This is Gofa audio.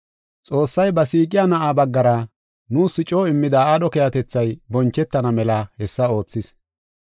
Xoossay ba siiqiya Na7aa baggara nuus coo immida aadho keehatethay bonchetana mela hessa oothis.